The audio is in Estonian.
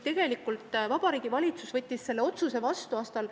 Vabariigi Valitsus võttis selle otsuse vastu aastal ...